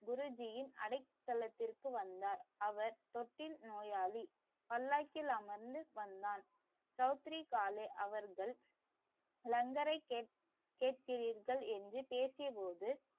குருஜீயின் அடைகலத்திருக்கு வந்தார். அவர் தொட்டில் நோயாளி. பல்லாக்கில் அமர்ந்து வந்தான். சௌத்ரி காலே அவர்கள் லங்கரை கேக்குறீர்கள் என்று பேசிய போது